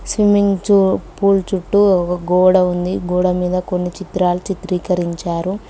Swimming pool చుట్టూ గోడా ఉంది గోడ మీద కొన్ని చిత్రాలు చిత్రీకరించారు.